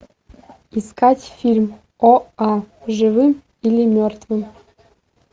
искать фильм оа живым или мертвым